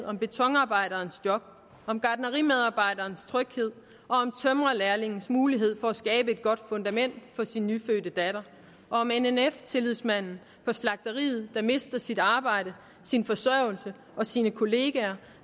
om betonarbejderens job om gartnerimedarbejderens tryghed tømrerlærlingens mulighed for at skabe at godt fundament for sin nyfødte datter og om nnf tillidsmanden på slagteriet der mister sit arbejde sin forsørgelse og sine kollegaer